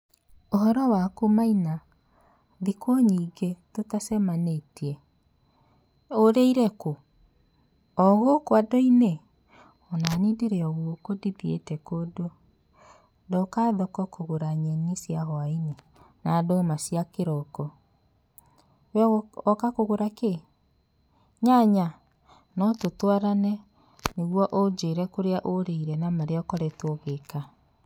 ''Ũhoro waku Maina? thikũ nyingĩ tũtacemanĩtie, ũrĩire kũu? ũgũkũ andũinĩ, onani ndĩrĩ ogũkũ ndĩthiĩte kũndũ, ndoka thoko kũgũra nyeni cia hwaĩinĩ na ndũma cia kĩroko, we woka kũgũra kĩ?nyanya?no tũtwarane nĩgũo ũjĩre kũrĩa ũrĩire na marĩa ũkoretwe ũgĩka.''